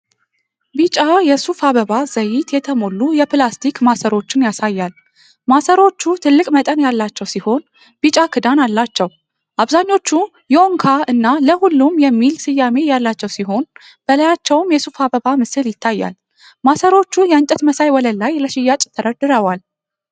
ቢጫ የሱፍ አበባ ዘይት የተሞሉ የፕላስቲክ ማሰሮዎችን ያሳያል። ማሰሮዎቹ ትልቅ መጠን ያላቸው ሲሆን፤ ቢጫ ክዳን አላቸው። አብዛኞቹ "ዮንካ" እና "ለሁሉም" የሚል ስያሜ ያላቸው ሲሆን፤ በላያቸውም የሱፍ አበባ ምስል ይታያል። ማሰሮዎቹ የእንጨት መሳይ ወለል ላይ ለሽያጭ ተደርድረዋል።